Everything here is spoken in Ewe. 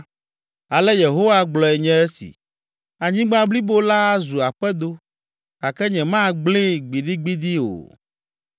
Ale Yehowa gblɔe nye esi: “Anyigba blibo la azu aƒedo, gake nyemagblẽe gbidigbidi o.